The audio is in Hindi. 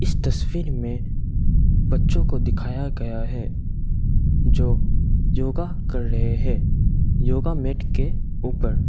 इस तस्वीर में बच्चों को दिखाया गया है जो योगा कर रहे हैं योगा मैट के ऊपर --